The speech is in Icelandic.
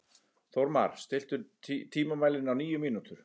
Þórmar, stilltu tímamælinn á níu mínútur.